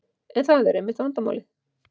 En það er einmitt vandamálið.